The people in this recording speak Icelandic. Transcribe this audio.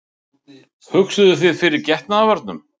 Hugsuðuð þið fyrir getnaðarvörnum?